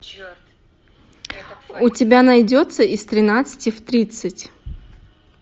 у тебя найдется из тринадцати в тридцать